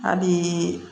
Hali